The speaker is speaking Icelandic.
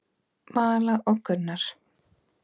Vala og Gunnar.